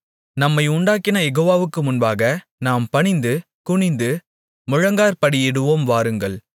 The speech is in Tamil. நம்மை உண்டாக்கின யெகோவாவுக்கு முன்பாக நாம் பணிந்து குனிந்து முழங்காற்படியிடுவோம் வாருங்கள்